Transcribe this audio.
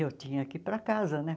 E eu tinha que ir para casa, né?